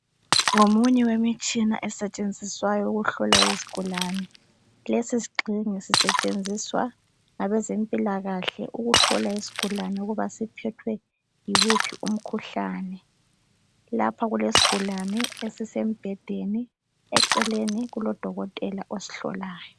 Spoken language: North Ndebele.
Ngomunye wemitshina esetshenziswayo ukuhlola izigulane. Lesi sigxingi sisetshenziswa ngabezempilakahle ukuhlola isigulane ukuba siphethwe yiwuphi umkhuhlane. Lapha kulesigulane esisembhedeni, eceleni kulodokotela osihlolayo.